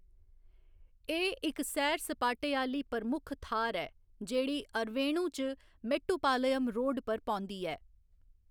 एह्‌‌ इक सैर सपाटे आह्‌ली प्रमुख थाह्‌‌‌र ऐ, जेह्‌‌ड़ी अरवेणु च मेट्टुपलायम रोड पर पौंदी ऐ।